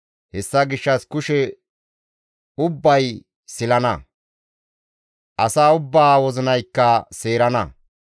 Hessa gishshas kushe ubbay silana; asa ubbaa wozinaykka seerana.